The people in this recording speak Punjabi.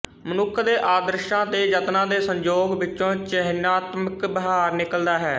ਮਨੁੱਖ ਦੇ ਆਦਰਸ਼ਾਂ ਤੇ ਯਤਨਾਂ ਦੇ ਸੰਯੋਗ ਵਿੱਚੋਂ ਚਿਹਨਾਤਮਕ ਵਿਹਾਰ ਨਿਕਲਦਾ ਹੈ